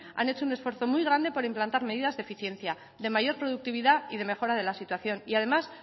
han hecho un esfuerzo muy grande por implantar medidas de eficiencia de mayor productividad y de mejora de la situación y además